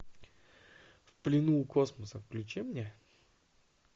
в плену у космоса включи мне